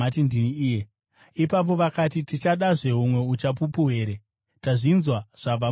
Ipapo vakati, “Tichadazve humwe uchapupu here? Tazvinzwa zvabva mumuromo make.”